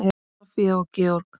Soffía og Georg.